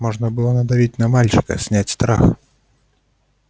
можно было надавить на мальчика снять страх